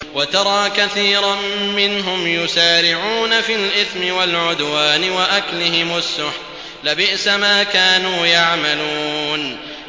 وَتَرَىٰ كَثِيرًا مِّنْهُمْ يُسَارِعُونَ فِي الْإِثْمِ وَالْعُدْوَانِ وَأَكْلِهِمُ السُّحْتَ ۚ لَبِئْسَ مَا كَانُوا يَعْمَلُونَ